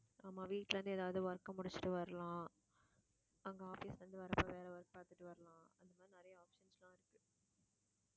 ஆமா, வீட்ல இருந்து எதாவது work அ முடிச்சுட்டு வரலாம். அங்க office ல இருந்து வர்றப்ப வேற work பாத்துட்டு வரலாம் அதனாலயே அவசர அவசரமா வந்து